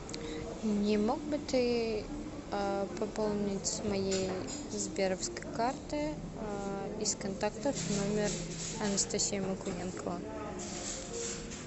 не мог бы ты пополнить с моей сберовской карты из контактов номер анастасия мокуненкова